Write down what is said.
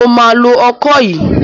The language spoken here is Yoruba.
Mo máa lo ọkọ yìí.